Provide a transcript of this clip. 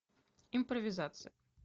импровизация